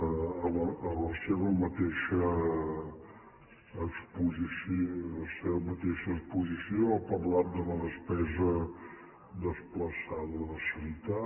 a la seva mateixa exposició ha parlat de la despesa desplaçada de sanitat